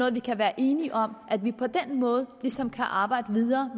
er vi kan være enige om at vi på den måde ligesom kan arbejde videre